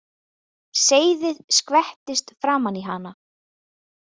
Seyðið skvettist framan í hana.